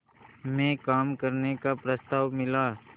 में काम करने का प्रस्ताव मिला